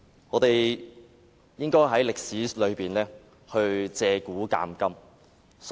我們應該從歷史借古鑒今。